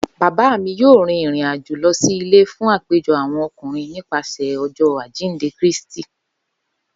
Baba mi yoo rin irin ajo lọ si ile fun apejọ awọn ọkunrin nipasẹ Ọjọ ajinde Kristi.